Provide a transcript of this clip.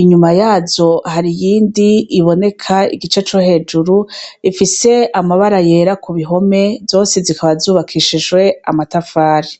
inyuma yazo har'iyindi iboneka igice cohejuru ifise mabara yera ku bihome zose zikaba zubakishijwe amatafari.